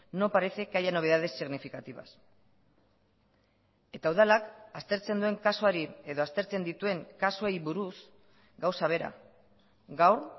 no parece que haya novedades significativas eta udalak aztertzen duen kasuari edo aztertzen dituen kasuei buruz gauza bera gaur